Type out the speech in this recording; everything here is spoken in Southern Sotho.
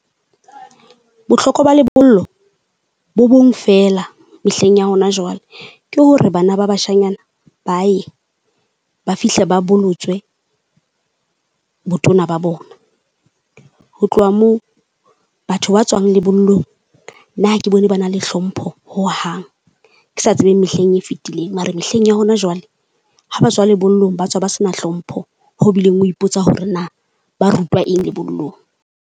Bohlokwa ba lebollo bo bong feela mehleng ya hona jwale, ke hore bana ba bashanyana ba ye ba fihle ba bolotswe botona ba bona. Ho tloha moo batho ba tswang lebollong nna ha ke bone ba na le hlompho hohang. Ke sa tsebeng mehleng e fitileng. Mara mehleng ya hona jwale ha ba tswa lebollong ba tswa ba se na hlompho, ho bileng o ipotsa hore na ba rutwa eng lebollong.